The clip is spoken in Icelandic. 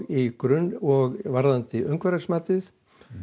í grunn og varðandi umhverfismatið